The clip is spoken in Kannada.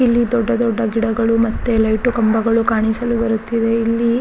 ಇಲ್ಲಿ ದೊಡ್ಡ ದೊಡ್ಡ ಗಿಡಗಳು ಮತ್ತೆ ಲೈಟು ಕಂಬಗಳು ಕಾಣಿಸಲು ಬರುತ್ತಿವೆ ಇಲ್ಲಿ --